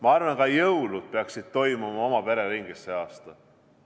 Ma arvan, et ka jõulud peaksid toimuma oma pere ringis sel aastal.